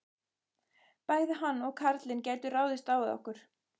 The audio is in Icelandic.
Bæði hann og karlinn gætu ráðist á okkur.